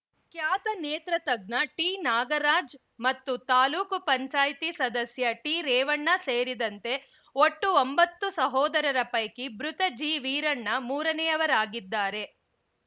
ಖ್ಯಾತ ನೇತ್ರ ತಜ್ಞ ಟಿ ನಾಗರಾಜ್ ಮತ್ತು ತಾಲೂಕು ಪಂಚಾಯಿತಿ ಸದಸ್ಯ ಟಿ ರೇವಣ್ಣ ಸೇರಿದಂತೆ ಒಟ್ಟು ಒಂಬತ್ತು ಸಹೋಧರರ ಪೈಕಿ ಬೃತ ಜಿ ವೀರಣ್ಣ ಮೂರನೆಯವರಾಗಿದ್ದಾರೆ